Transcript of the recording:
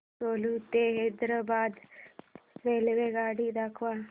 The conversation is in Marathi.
सेलू ते हैदराबाद रेल्वेगाडी दाखवा